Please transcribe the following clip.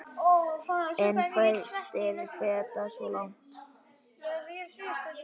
En fæstir feta svo langt.